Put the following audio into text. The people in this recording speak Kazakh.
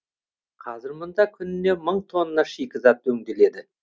қазір мұнда күніне мың тонна шикізат өңделеді